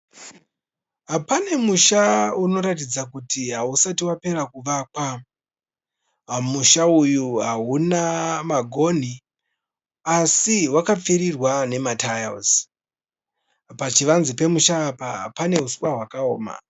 Pane musha unoratidza kuti hausati Vapera kuvakwa musha uyu hauna magoni asi vakapfirirwa nemataiuzi pachivanze pemusha apa pane uswa hwakaoma